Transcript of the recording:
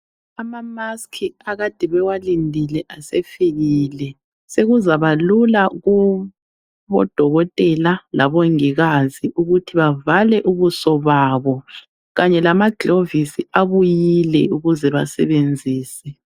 ama mask abakade bewalindile asefikile sekuzaba lula kubo dokotela labongikazi ukuthi bavale ubuso babo kanye lamaglovisi abuyile ukuze basebenzise